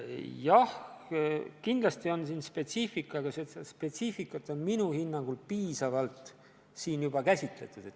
Jah, kindlasti on tegu spetsiifikaga, aga spetsiifikat on eelnõus minu hinnangul juba piisavalt käsitletud.